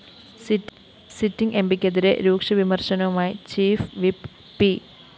sitting എംപിക്കെതിരെ രൂക്ഷവിമര്‍ശനവുമായി chief whip P